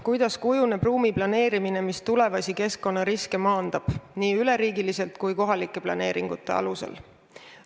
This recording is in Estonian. Kuidas kujuneb ruumi planeerimine, mis tulevasi keskkonnariske maandab, seda nii üleriigiliselt kui kohalike planeeringute alusel?